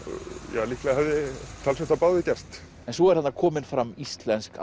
ja líklega hefði talsvert af báðu gerst en svo er þarna komin fram íslensk